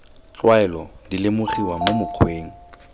tlwaelo di lemogiwa mo mokgweng